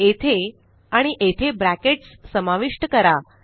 येथे आणि येथे ब्रॅकेट्स समाविष्ट करा